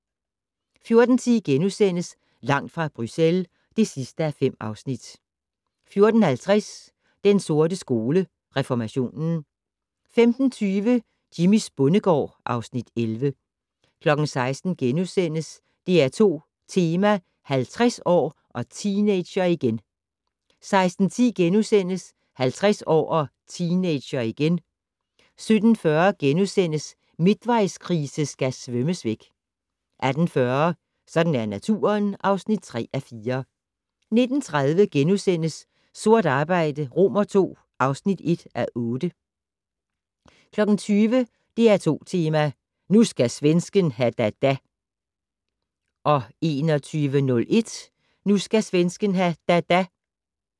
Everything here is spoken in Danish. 14:10: Langt fra Bruxelles (5:5)* 14:50: Den sorte skole: Reformationen 15:20: Jimmys bondegård (Afs. 11) 16:00: DR2 Tema: 50 år - og teenager igen * 16:10: 50 år - og teenager igen * 17:40: Midtvejskrise skal svømmes væk * 18:40: Sådan er naturen (3:4) 19:30: Sort arbejde II (1:8)* 20:00: DR2 Tema: Nu skal svensken ha da da 20:01: Nu skal svensken ha da da